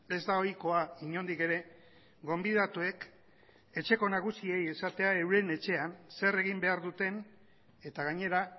ez da ohikoa inondik ere gonbidatuek etxeko nagusiei esatea euren etxean zer egin behar duten eta gainera